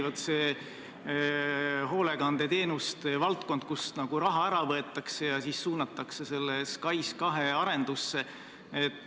Vaat see hoolekandeteenuste valdkond, kust raha ära võetakse ja suunatakse see SKAIS2 arendusse.